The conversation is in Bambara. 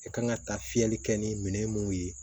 I kan ka taa fiyɛli kɛ ni minɛn mun ye